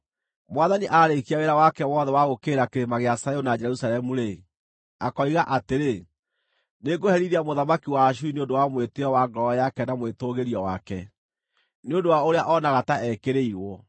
Mwathani aarĩkia wĩra wake wothe wa gũũkĩrĩra Kĩrĩma gĩa Zayuni na Jerusalemu-rĩ, akoiga atĩrĩ, “Nĩngũherithia mũthamaki wa Ashuri nĩ ũndũ wa mwĩtĩĩo wa ngoro yake na mwĩtũũgĩrio wake, nĩ ũndũ wa ũrĩa oonaga ta ekĩrĩirwo.